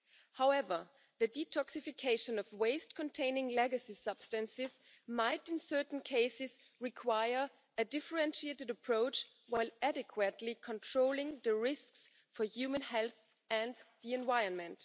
However, the detoxification of waste containing legacy substances might, in certain cases, require a differentiated approach that also adequately controls the risks for human health and the environment.